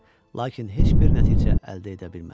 Lakin heç bir nəticə əldə edə bilmədi.